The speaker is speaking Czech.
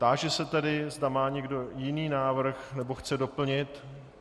Táži se tedy, zda má někdo jiný návrh nebo chce doplnit.